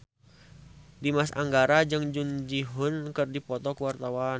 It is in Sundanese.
Dimas Anggara jeung Jung Ji Hoon keur dipoto ku wartawan